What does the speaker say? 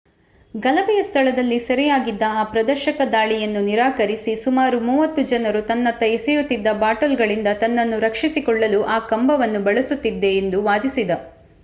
ಗಲಭೆಯ ಸ್ಥಳದಲ್ಲಿ ಸೆರೆಯಾಗಿದ್ದ ಆ ಪ್ರದರ್ಶಕ ದಾಳಿಯನ್ನು ನಿರಾಕರಿಸಿ ಸುಮಾರು ಮೂವತ್ತು ಜನರು ತನ್ನತ್ತ ಎಸೆಯುತಿದ್ದ ಬಾಟಲ್‌ಗಳಿಂದ ತನ್ನನ್ನು ರಕ್ಷಿಸಿಕೊಳ್ಳಲು ಆ ಕಂಬವನ್ನು ಬಳಸುತ್ತಿದ್ದೆ ಎಂದು ವಾದಿಸಿದ